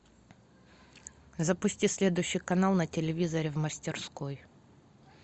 запусти следующий канал на телевизоре в мастерской